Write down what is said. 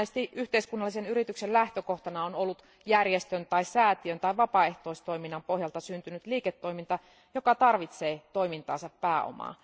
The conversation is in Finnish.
Monesti yhteiskunnallisen yrityksen lähtökohtana on ollut järjestön, säätiön tai vapaaehtoistoiminnan pohjalta syntynyt liiketoiminta, joka tarvitsee toimintaansa pääomaa.